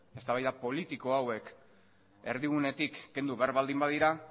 eztabaida politiko hauek erdigunetik kendu behar baldin badira